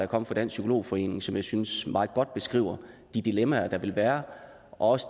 kommet fra dansk psykolog forening som jeg synes meget godt beskriver de dilemmaer der vil være og også